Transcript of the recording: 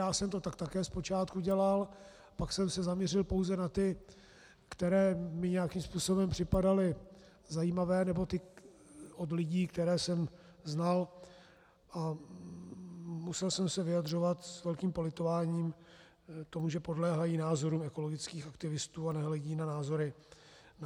Já jsem to tak také zpočátku dělal, pak jsem se zaměřil pouze na ty, které mi nějakým způsobem připadaly zajímavé, nebo ty od lidí, které jsem znal, a musel jsem se vyjadřovat s velkým politováním toho, že podléhají názorům ekologických aktivistů a nehledí na názory jiné.